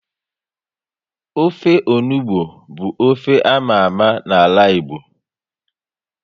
Ofe onugbu bu ofe ámá ámá na ala Igbo